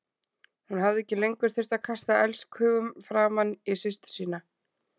Hún hafði ekki lengur þurft að kasta elskhugum framan í systur sína.